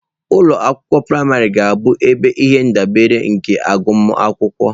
Ụlọ akwụkwọ praịmarị ga-abụ ihe ndabere nke agụmakwụkwọ.